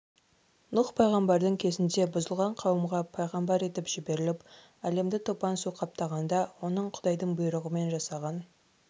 нұһ пайғамбардың кезінде бұзылған қауымға пайғамбар етіп жіберіліп әлемді топан су қаптағанда оның құдайдың бұйырығымен жасаған